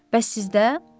Bəs sizdə?